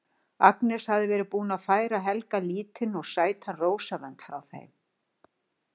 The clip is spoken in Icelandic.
Agnes hafði verið búin að færa Helga lítinn og sætan rósavönd frá þeim